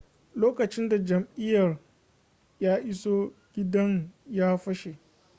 lokacin da jami'in ya iso gidan ya fashe